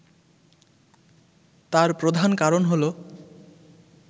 তার প্রধান কারণ হলো